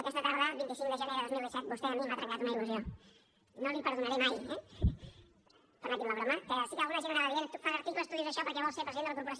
aquesta tarda vint cinc de gener de dos mil disset vostè a mi m’ha trencat una il·lusió no l’hi perdonaré mai eh permeti’m la broma que sí que alguna gent ho anava dient tu fas articles tu dius això perquè vols ser president de la corporació